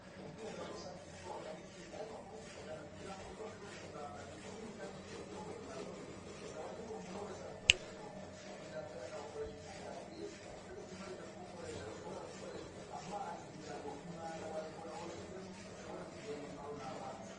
Ubwiherero rusangi kubwubaka nikimwe ariko kubukurikirana kugira ngo buzoshobore kuramba nikindi kandi nicogikorwa kinakomeye bisabako umuntu wese abukoresha akabukoresha kijambere akabukoresha uko vyabwirizwa nicogituma uhejeje kubukoresha ushobora gukoresha amazi kugira ngo umwanda wawushizemwo ushobore kugenda utwawe namazi